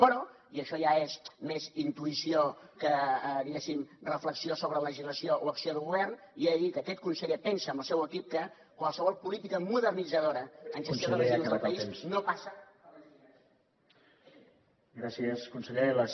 però i això ja és més intuïció que diguéssim reflexió sobre la legislació o acció de govern li he de dir que aquest conseller pensa amb el seu equip que qualsevol política modernitzadora en gestió de residus del país no passa per la incineració